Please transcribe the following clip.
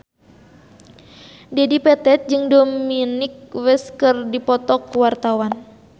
Dedi Petet jeung Dominic West keur dipoto ku wartawan